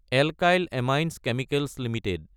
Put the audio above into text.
alkyl amines chemicals Ltd